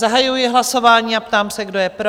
Zahajuji hlasování a ptám se, kdo je pro?